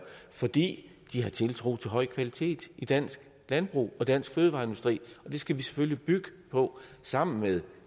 fordi de har tiltro til høj kvalitet i dansk landbrug og dansk fødevareindustri og det skal vi selvfølgelig bygge på sammen med